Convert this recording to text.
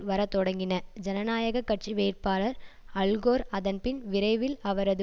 வரத்தொடங்கின ஜனநாயக கட்சி வேட்பாளர் அல்கோர் அதன்பின் விரைவில் அவரது